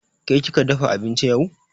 Ke kika dafa abinci yau?